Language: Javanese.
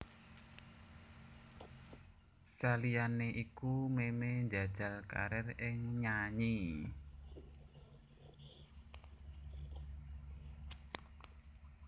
Saliyané iku Memey njajal karir ing nyanyi